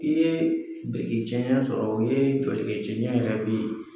I ye biriki cɛncɛn sɔrɔ o o ye jɔlikɛ cɛncɛn yɛrɛ